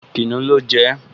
Kìnìún ló jẹ ẹ́